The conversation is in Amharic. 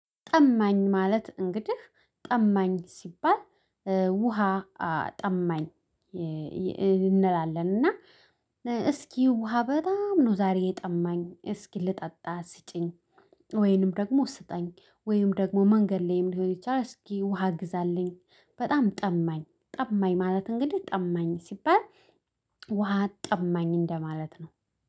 ጠማኝ ማለት እንግዲህ ጠማኝ ሲባል ውሃ ጠማኝ እንላለን። እና እስኪ ውሃ በጣም ነው ዛሬ የጠማኝ እስኪ ልጠጣ ሲጪኝ። ወይንም ደግሞ ስጠኝ ወይንም ደግሞ መንገድ ላይም ሊሆን ይችላል። እስኪ ውሃ ግዛልኝ በጣም ጠማኝ ጠማኝ። ማለት እንግዲህ ጠማኝ ሲባል ውሃ ጠማኝ እንደማለት ነው